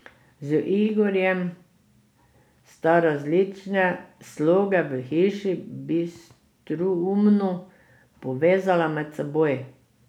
Z Igorjem sta različne sloge v hiši bistroumno povezala med seboj.